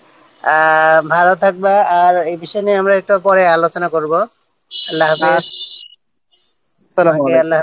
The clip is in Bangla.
আহ ভালো থাকবে আর এই বিষয় নিয়ে আমরা পরে একটা আলোচনা করব আল্লাহ হাফিজ